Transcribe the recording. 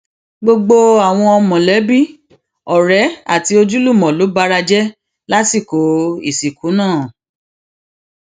gbogbo àwọn mọlẹbí ọrẹ àti ojúlùmọ ló bara jẹ lásìkò ìsìnkú náà